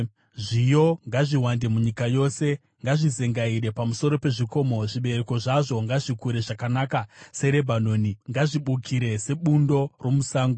Zviyo ngazviwande munyika yose; ngazvizengaire pamusoro pezvikomo. Zvibereko zvazvo ngazvikure zvakanaka seRebhanoni; ngazvibukire sebundo romusango.